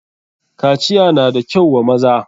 kaciya na da kyau wa maza.